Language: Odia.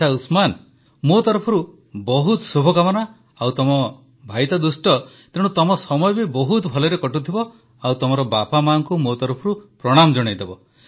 ଆଚ୍ଛା ଉସମାନ ମୋ ତରଫରୁ ବହୁତ ଶୁଭକାମନା ଆଉ ତମ ଭାଇ ଦୁଷ୍ଟ ତ ତେଣୁ ତମ ସମୟ ବି ବହୁତ ଭଲରେ କଟୁଥିବ ଆଉ ତମ ମାଆବାପାଙ୍କୁ ମୋ ତରଫରୁ ପ୍ରଣାମ ଜଣାଇଦେବ